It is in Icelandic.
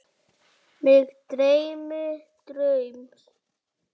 Mig dreymdi draum.